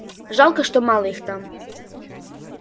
жалко что мало их там